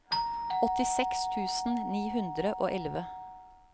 åttiseks tusen ni hundre og elleve